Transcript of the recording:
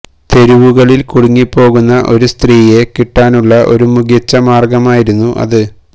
തെരുവുകളിൽ കുടുങ്ങിപ്പോകുന്ന ഒരു സ്ത്രീയെ കിട്ടാനുള്ള ഒരു മികച്ച മാർഗമായിരുന്നു അത്